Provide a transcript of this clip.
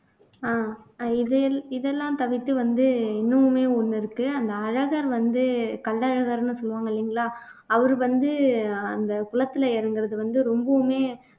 ஆஹ் அஹ் இதெல் இதெல்லாம் தவிர்த்து வந்து இன்னமுமே ஒண்ணு இருக்கு அந்த அழகர் வந்து கள்ளழகர்ன்னு சொல்லுவாங்க இல்லைங்களா அவரு வந்து அந்த குளத்துல இறங்குறது வந்து ரொம்பவுமே